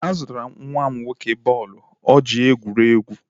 Azụtara m nwa m nwoke bọọlụ o ji egwu egwuregwu.